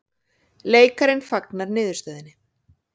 Leikarinn fagnar niðurstöðunni